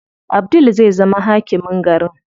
Abdul zai zama hakimin garin.